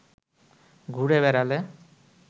ঘুরে বেড়ালে